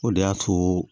O de y'a to